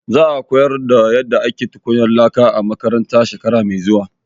Za a koyar da yadda ake tukwanan laka a makaranta shekara mai zuwa.